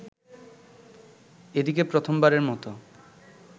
এদিকে প্রথম বারের মত